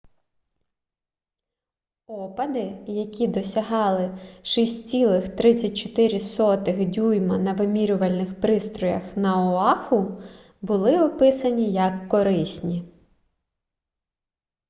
опади які досягали 6,34 дюйма на вимірювальних пристроях на оаху були описані як корисні